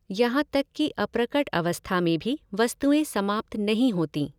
यहाँ तक कि अप्रकट अवस्था में भी वस्तुएं समाप्त नहीं होतीं।